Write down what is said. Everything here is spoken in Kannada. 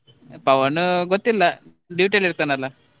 ಪವನ್ ಗೊತ್ತಿಲ್ಲ duty ಅಲ್ಲಿ ಇರ್ತಾನಲ್ಲ.